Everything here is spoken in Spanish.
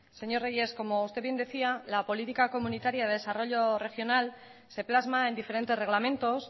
señor reyes como usted bien decía la política comunitaria de desarrollo regional se plasma en diferentes reglamentos